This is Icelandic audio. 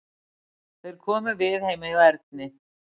Þeir komu við heima hjá Erni.